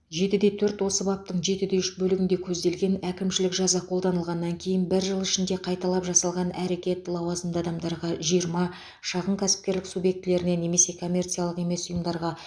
жетіде төрт осы баптың жетіде үш бөлігінде көзделген әкімшілік жаза қолданылғаннан кейін бір жыл ішінде қайталап жасалған әрекет лауазымды адамдарға жиырма шағын кәсіпкерлік субъектілеріне немесе коммерциялық емес ұйымдарға